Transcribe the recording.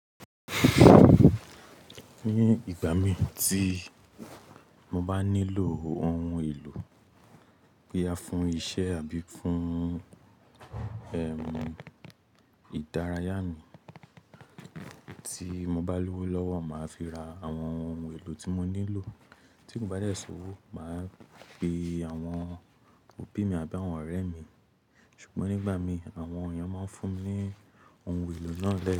Ní ìgbà mì tí mo bá nílò ohun èlò boya fún isẹ́ àbí fún, ìdárayá mi tí mo bá lówó lọ́wọ́, màá fi ra àwọn ohun èlò tí mo nílò. Tí ko bá dẹ̀ ṣòwò, màá pe àwọn òbí mi àbí àwọn ọ̀rẹ́ mi. Ṣùgbọ́n nígbà mí, àwọn èèyàn máa ń fún mi ní ohun èlò náà lẹ́yìn.